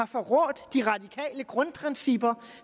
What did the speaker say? forrådt de radikale grundprincipper